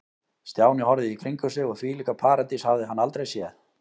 Stjáni horfði í kringum sig og þvílíka paradís hafði hann aldrei séð.